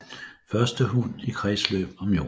Første hund i kredsløb om jorden